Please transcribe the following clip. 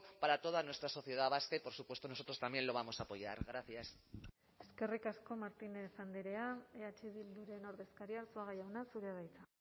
para toda nuestra sociedad vasca y por supuesto nosotros también lo vamos a apoyar gracias eskerrik asko martínez andrea eh bilduren ordezkaria arzuaga jauna zurea da hitza